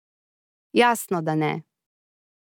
Jasno, da ne.